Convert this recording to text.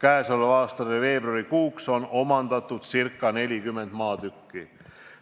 Selle aasta veebruarikuuks on omandatud ca 40 maatükki.